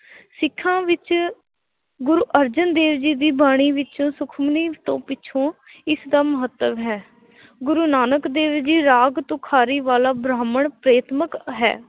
ਸਿੱਖਾਂ ਵਿੱਚ ਗੁਰੂ ਅਰਜਨ ਦੇਵ ਜੀ ਦੀ ਬਾਣੀ ਵਿੱਚ ਸੁਖਮਨੀ ਤੋਂ ਪਿੱਛੋਂ ਇਸ ਦਾ ਮਹੱਤਵ ਹੈ ਗੁਰੂ ਨਾਨਕ ਦੇਵ ਜੀ ਰਾਗ ਤੁਖਾਰੀ ਵਾਲਾ ਬ੍ਰਾਹਮਣ ਪ੍ਰੇਤਮਕ ਹੈ l